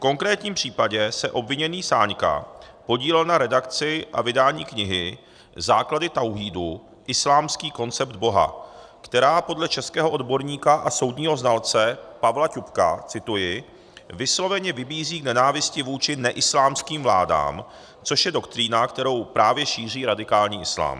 V konkrétním případě se obviněný Sáňka podílel na redakci a vydání knihy Základy Tauhídu - Islámský koncept Boha, která podle českého odborníka a soudního znalce Pavla Ťupka - cituji - "vysloveně vybízí k nenávisti vůči neislámským vládám, což je doktrína, kterou právě šíří radikální islám.